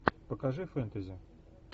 покажи фэнтези